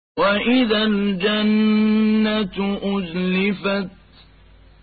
وَإِذَا الْجَنَّةُ أُزْلِفَتْ